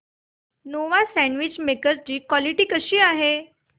Nova sandwich maker ची quality कशी आहे